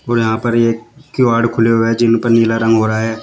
और यहां पर एक किवाड़ खुले हुए है जिन पे नीला रंग हो रहा है।